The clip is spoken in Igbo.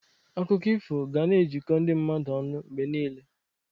Akụkọ ifo ga na-ejikọ ndị mmadụ ọnụ mgbe niile.